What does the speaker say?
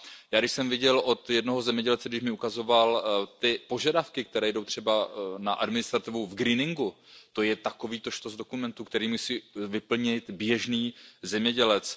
Já, když jsem viděl od jednoho zemědělce, když mi ukazoval ty požadavky, které jdou třeba na administrativu v greeningu, to je takovýto štos dokumentů, který musí vyplnit běžný zemědělec.